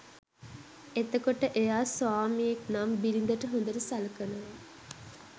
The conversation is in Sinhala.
එතකොට එයා ස්වාමියෙක් නම් බිරිඳට හොඳට සලකනවා